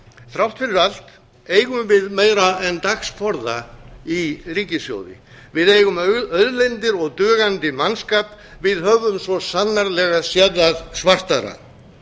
þrátt fyrir allt eigum við meira en dagsforða í ríkissjóði við eigum auðlindir og dugandi mannskap við höfum svo sannarlega séð það svartara